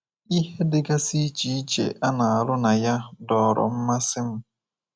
Ihe dịgasị iche iche a na-arụ na ya dọọrọ mmasị m.